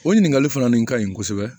O ɲininkali fana nin ka ɲi kosɛbɛ